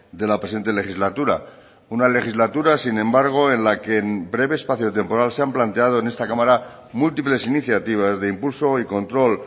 de la presente legislatura una legislatura sin embargo en la que en breve espacio temporal se han planteado en esta cámara múltiples iniciativas de impulso y control